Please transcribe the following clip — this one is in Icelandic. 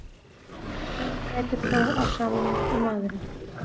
Engin dýrategund grætur þó á sama hátt og maðurinn.